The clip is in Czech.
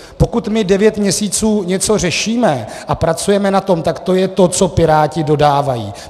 Pokud my devět měsíců něco řešíme a pracujeme na tom, tak to je to, co Piráti dodávají.